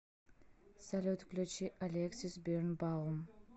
салют включи алексис бирнбаум